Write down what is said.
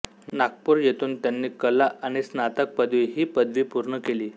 नागपूर येथून त्यांनी कला आणि स्नातक पदवी ही पदवी पूर्ण केली